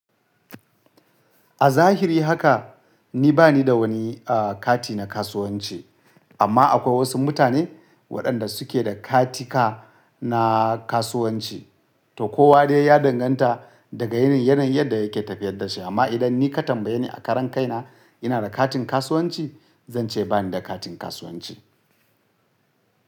A zahiri haka ni bani da wani, ah, kati na kasuwanci. Amma akwai wasu mutane waɗanda suke da katika na kasuwanci. To kowa dai ya danganta daga yanayin yadda yake tafiyar da shi. Amma idan ni ka tambaye ni a karan kaina ina da katin kasuwanci, zan ce bani da katin kasuwanci.